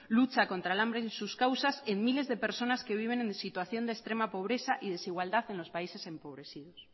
lucha contra el hambre y sus causas en miles de personas que viven en situación de extrema pobreza y desigualdad en los países empobrecidos